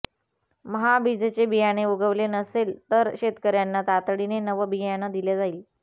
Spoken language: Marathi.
महाबीजचे बियाणे उगवले नसेल तर शेतकर्यांना तातडीने नवं बियाणं दिले जाईल